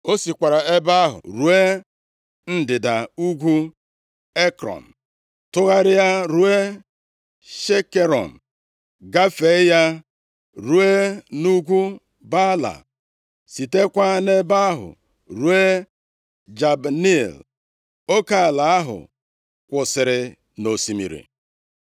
O sikwara ebe ahụ ruo ndịda ugwu Ekrọn, tụgharịa ruo Shikerọn, gafee ya, ruo nʼugwu Baala, sitekwa nʼebe ahụ ruo Jabneel, oke ala ahụ kwụsịrị nʼosimiri.